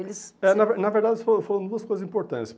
Eles... É na ver Na verdade, fo foram duas coisas importantes.